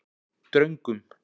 Dröngum